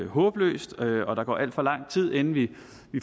håbløst og der går alt for lang tid inden vi